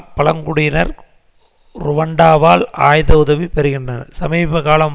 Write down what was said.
பழங்குடியினர் ருவண்டாவால் ஆயுத உதவி பெறுகின்றனர் சமீபகாலம்